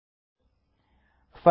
अधुना कॉपी कृत्वा पस्ते करोमि